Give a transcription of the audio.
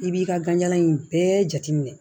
I b'i ka ganjalan in bɛɛ jateminɛ